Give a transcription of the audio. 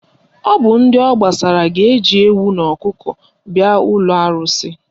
Ọ bụ ndị ọ gbasara ga-eji ewu na ọkụkọ bịa ụlọ arụsị